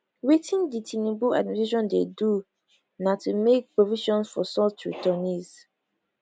wetin di tinubu administration dey do na to make provisions for such returnees